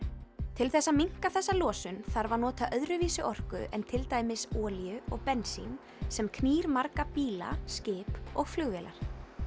til þess að minnka þessa losun þarf að nota öðruvísi orku en til dæmis olíu og bensín sem knýr marga bíla skip og flugvélar